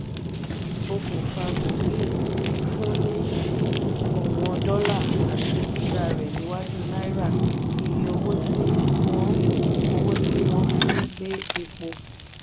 okùnfà gbogi fún ni òwón dollar àti gíga rẹ̀ níwájú náírà iye owó tí wọ́n owó tí wọ́n fí ń gbé epo.